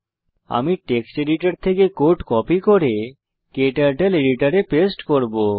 আমি text editor থেকে code copy করব এবং তা ক্টার্টল এডিটরে পেস্ট করব